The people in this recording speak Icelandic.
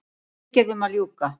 Viðgerðum að ljúka